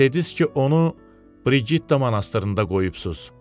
Bəs dediniz ki, onu Brigitta monastırında qoyubsiz.